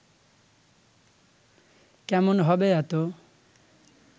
কেমন হবে এতো